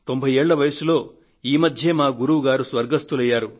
90 ఏళ్ల వయసులో ఈ మధ్యే మా గురువు గారు స్వర్గస్తులయ్యారు